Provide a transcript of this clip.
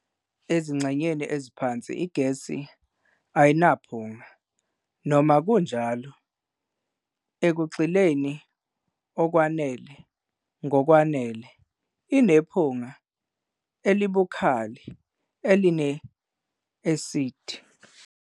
Ezingxenyeni eziphansi igesi ayinaphunga, noma kunjalo, ekugxileni okwanele ngokwanele, inephunga elibukhali, eline-esidi.